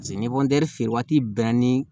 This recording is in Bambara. Paseke ni feere waati bɛɛ ni